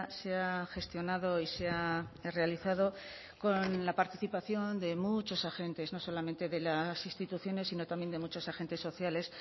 se ha gestionado y se ha realizado con la participación de muchos agentes no solamente de las instituciones sino también de muchos agentes sociales